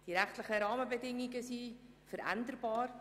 Die rechtlichen Rahmenbedingen sind veränderbar.